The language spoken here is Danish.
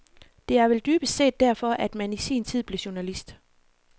Det er vel dybest set derfor, man i sin tid blev journalist.